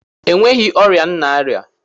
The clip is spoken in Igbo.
Enweghị ọrịa m na-arịa